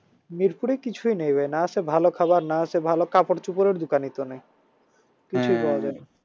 মিরপুরে কিছুই নেই না আছে ভালো খাবার না আছে ভালো কাপড়চোপড়ের দোকানই তো নাই